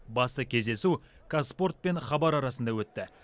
басты кездесу қазспорт пен хабар арасында өтті